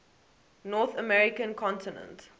north american continent